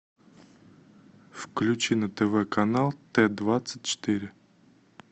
включи на тв канал т двадцать четыре